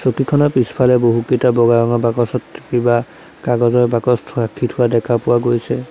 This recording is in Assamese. চকীখনৰ পিছফালে বহুকেইটা বগা ৰঙৰ বাকচত কিবা কাগজৰ বাকচ ৰাখি থোৱা দেখা গৈছে।